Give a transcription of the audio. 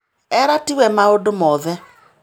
Ela ti we maũndũ mothe